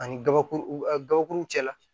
Ani gabakuru u a gabakuruw cɛla